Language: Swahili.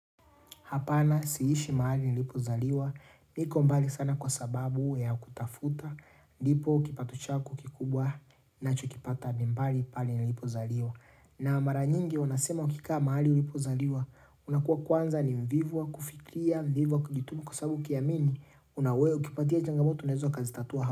Hapana siishi mahali nilipozaliwa, niko mbali sana kwa sababu ya kutafuta, ndipo kipatochaku kikubwa nachokipata ni mbali pale nilipozaliwa. Na mara nyingi wanasema ukikaa mahali uilipozaliwa, unakuwa kwanza ni mvivu wa, kufikiria, mvivu wa kujituma kwasabu ukiamini, unaweukipatia changamoto unaweza kazitatua ha.